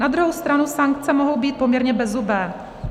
Na druhou stranu sankce mohou být poměrně bezzubé.